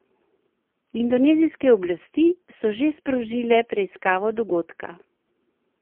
Indonezijske oblasti so že sprožile preiskavo dogodka.